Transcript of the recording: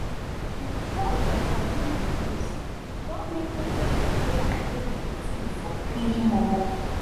as price of coffee increase e don make me change d way i drink dey tea for early momo.